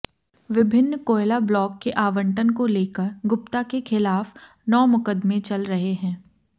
विभिन्न कोयला ब्लॉक के आवंटन को लेकर गुप्ता के खिलाफ नौ मुकदमे चल रहे हैं